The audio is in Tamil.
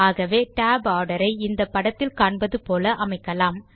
ஆகவே tab ஆர்டர் ஐ இந்த படத்தில் காண்பது போல அமைக்கலாம்